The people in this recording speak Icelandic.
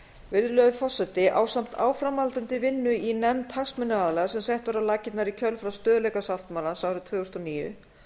virðulegur forseti ásamt áframhaldandi vinnu í nefnd hagsmunaaðila sem sett var á laggirnar í kjölfar stöðugleikasáttmálans árið tvö þúsund og níu